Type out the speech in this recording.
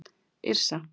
Yrsa